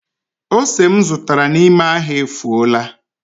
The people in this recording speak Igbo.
Ose m zụtara n’ime ahịa efuola